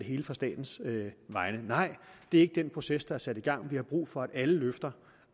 hele fra statens side nej det er ikke den proces der er sat i gang vi har brug for at alle løfter